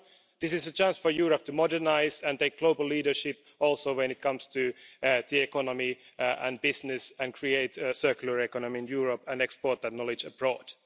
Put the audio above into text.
This is a chance for Europe to modernise and take global leadership also when it comes to the economy and business and create a circular economy in Europe and export that knowledge abroad.